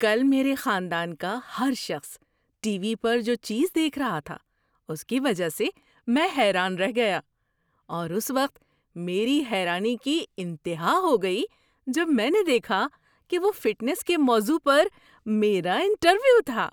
کل میرے خاندان کا ہر شخص ٹی وی پر جو چیز دیکھ رہا تھا، اس کی وجہ سے میں حیران رہ گیا اور اس وقت میری حیرانی کی انتہا ہو گئی جب میں نے دیکھا کہ وہ فٹنس کے موضوع پر میرا انٹرویو تھا۔